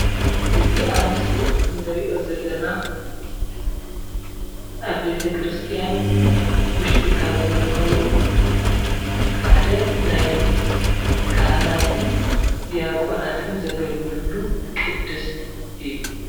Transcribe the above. እዚ ኣብ ምስሊ እንርእዮ ዘለና ኣብ ቤተክርስትያን ውሽጢ ካብ ዝርከቡ ሓደ ናይ ካህናትን ድያቆናትን ዘገልግልሉ ቅድስት እዩ።